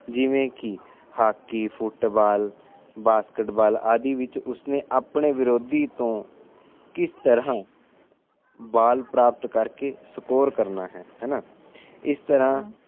ਜਿਵੇ ਕਿ hockey football basketball ਆਦਿ ਵਿੱਚ ਉਸ ਨੇ ਆਪਣੇ ਵਿਰੋਧੀ ਤੋਂ ਕਿਸ ਤਰਾਂ ਬਾਲ ਪ੍ਰਾਪਤ ਕਰਕੇ ਸਕੋਰ ਕਰਨਾ ਹੈ ਇਸ ਤਰਾਂ